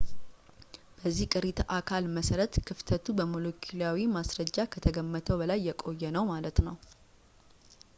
በዚህ ቅሪተ አካል መሰረት ክፍተቱ በሞለኪላዊ ማስረጃ ከተገመተው በላይ የቆየ ነው ማለት ነው